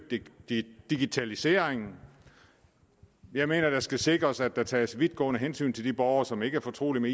digitaliseringen jeg mener det skal sikres at der tages vidtgående hensyn til de borgere som ikke er fortrolige